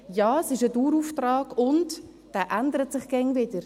Ja, es ist ein Dauerauftrag, und dieser ändert sich andauernd wieder.